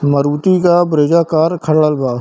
मरूती का Brezza car खड़ा बा।